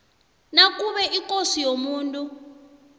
nakube ikosi yomuntu